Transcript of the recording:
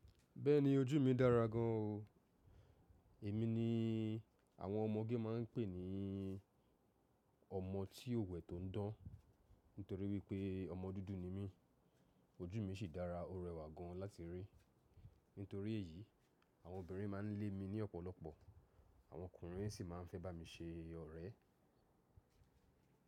Bẹ́ẹ̀ni ojú mi dára gan an o. Èmi ni àwọn ọmọge máa ń pè ní ọmọ tí òwẹ̀ tó ń dán. Nítorí wípé ọmọ dúdú ni mí, ojú mi sì dára ó rẹwà gan láti rí. Nítorí èyí, àwọn obìnrin máa ń lé mi ní ọ̀pọ̀lọpọ̀, àwọn ọkùnrin sì máa ń fẹ́ bá mi ṣe ọrẹ.